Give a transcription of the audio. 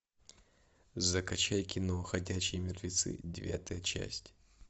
закачай кино ходячие мертвецы девятая часть